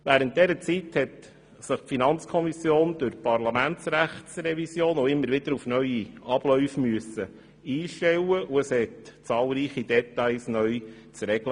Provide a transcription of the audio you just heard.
Während dieser Zeit musste sich die FiKo durch die Parlamentsrechtsrevision auch immer wieder auf neue Abläufe einstellen und es galt zahlreiche Details neu zu regeln.